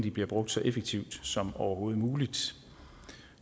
bliver brugt så effektivt som overhovedet muligt